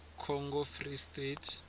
congo free state